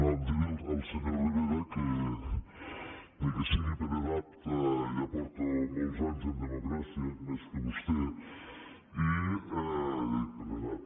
no dir al senyor rivera que ni que sigui per edat ja porto molts anys en democràcia més que vostè per edat